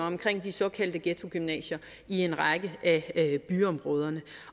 omkring de såkaldte ghettogymnasier i en række af byområderne